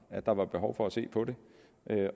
at der var behov for at se på det